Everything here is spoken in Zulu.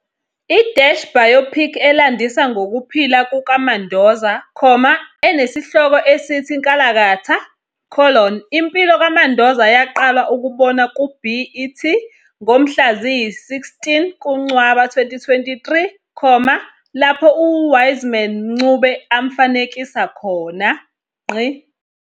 I-biopic elandisa ngokuphila kukaMandoza, enesihloko esithi Nkalakatha- Impilo kaMandoza yaqala ukubonwa ku-BET ngomhla ziyi-16 kuNcwaba 2023, lapho uWiseman Mncube amfanekisa khona.